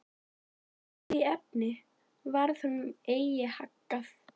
En í því efni varð honum eigi haggað.